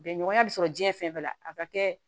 Bɛnɲɔgɔnya bɛ sɔrɔ diɲɛ fɛn fɛn la a ka kɛ